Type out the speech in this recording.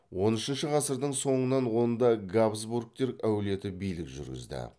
он үшінші ғасырдың соңынан онда габсбургтер әулеті билік жүргізді